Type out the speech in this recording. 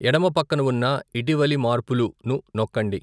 ఎడమ పక్కన ఉన్న ఇటీవలి మార్పులు ను నొక్కండి.